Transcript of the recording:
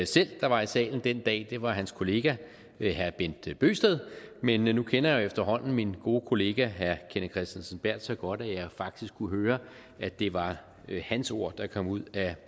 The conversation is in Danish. selv der var i salen den dag det var hans kollega herre bent bøgsted men nu kender jeg jo efterhånden min gode kollega herre kenneth kristensen berth så godt at jeg faktisk kunne høre at det var hans ord der kom ud af